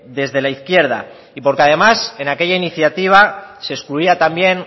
desde la izquierda y porque además en aquella iniciativa se excluía también